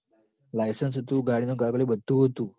license અતું ગાડીનાં કાગળિયાં બધું અતું